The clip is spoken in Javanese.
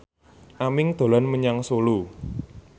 Aming dolan menyang Solo